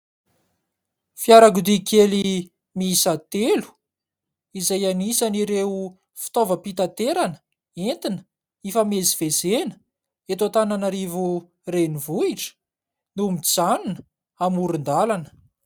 Fiarakodia kely miisa telo, izay anisan'ireo fitaovam-pitaterana entina hifamezivezena eto Antananarivo renivohitra, no mijanona amoron-dalana.